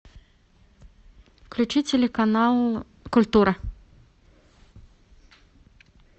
включи телеканал культура